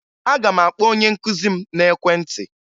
Aga m akpọ onye nkụzi m n'ekwentị